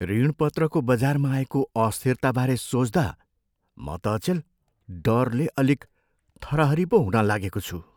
ऋणपत्रको बजारमा आएको अस्थिरताबारे सोच्दा म त अचेल डरले अलिक थरहरी पो हुन लागेको छु।